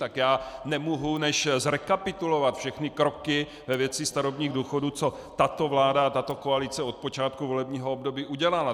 Tak já nemohu než zrekapitulovat všechny kroky ve věci starobních důchodů, co tato vláda a tato koalice od počátku volebního období udělala.